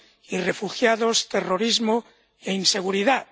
y refugiados, terrorismo e inseguridad.